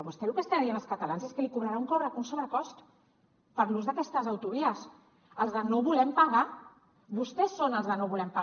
vostè el que està dient als catalans és que els cobrarà un sobrecost per l’ús d’aquestes autovies els de no volem pagar vostès són els de no volem pagar